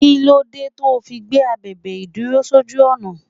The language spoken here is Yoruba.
Kí ló dé to fi gbé abèbè ìdúró sójú ọ̀nà?